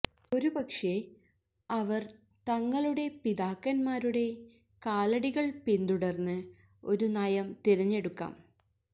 ഒരുപക്ഷേ അവര് തങ്ങളുടെ പിതാക്കന്മാരുടെ കാലടികൾ പിന്തുടർന്ന് ഒരു നയം തിരഞ്ഞെടുക്കാം